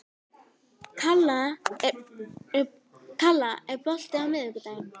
Kalla, er bolti á miðvikudaginn?